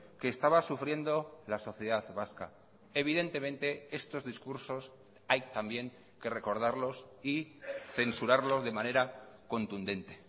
que estaba sufriendo la sociedad vasca evidentemente estos discursos hay también que recordarlos y censurarlos de manera contundente